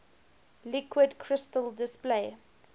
liquid crystal display